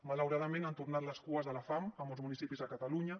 malauradament han tornat les cues de la fam a molts municipis de catalunya